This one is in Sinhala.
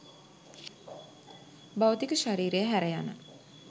භෞතික ශරීරය හැර යන